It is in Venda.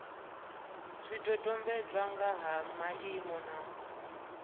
zwidodombedzwa nga ha maimo na